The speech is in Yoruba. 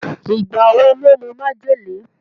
Ìgbà wo ló mu májèlé?